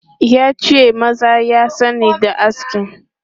Ya ce maza ya sani da aski.